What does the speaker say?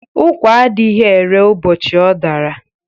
Ụ́kwà adịghị ere ụbọchị ọ dara.